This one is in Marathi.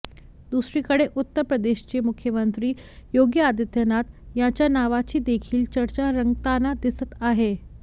दुसरीकडे उत्तर प्रदेशचे मुख्यमंत्री योगी आदित्यनाथ यांच्या नावाची देखील चर्चा रंगताना दिसत आहे